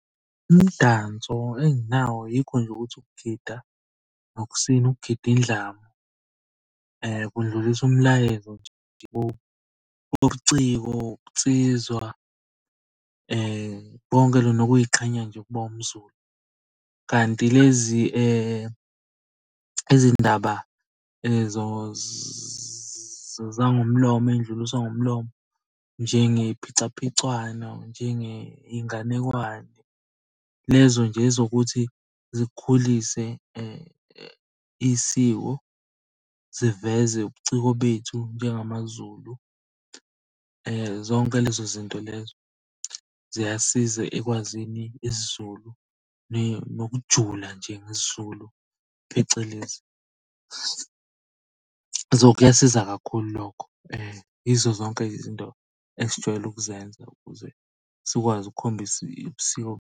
Umdanso enginawo yikho nje ukuthi ukugida nokusina, ukugida indlamu. Kundlulisa umlayezo ubuciko, ubunsizwa konke lokhu nokuy'qhenya nje ukuba umZulu, kanti lezi izindaba zangomlomo ey'dluliswa ngomlomo njengey'phicaphicwano, njengey'nganekwane. Lezo nje ezokuthi zikukhulise isiko, ziveze ubuciko bethu njengamaZulu. Zonke lezo zinto lezo ziyasiza ekwazini isiZulu, nokujula nje ngesiZulu, phecelezi. So, kuyasiza kakhulu lokho, yizo zonke izinto esijwayele ukuzenza ukuze sikwazi ukukhombisa ubusiko.